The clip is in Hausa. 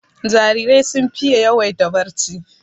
Jarirai sun fiye yawaita barci